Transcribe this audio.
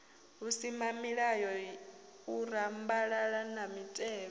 vhusimamilayo u rambalala na mitevhe